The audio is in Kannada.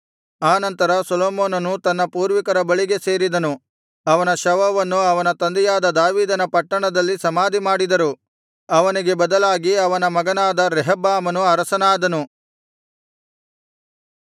ಆನಂತರ ಸೊಲೊಮೋನನು ತನ್ನ ಪೂರ್ವಿಕರ ಬಳಿಗೆ ಸೇರಿದನು ಅವನ ಶವವನ್ನು ಅವನ ತಂದೆಯಾದ ದಾವೀದನ ಪಟ್ಟಣದಲ್ಲಿ ಸಮಾಧಿಮಾಡಿದರು ಅವನಿಗೆ ಬದಲಾಗಿ ಅವನ ಮಗನಾದ ರೆಹಬ್ಬಾಮನು ಅರಸನಾದನು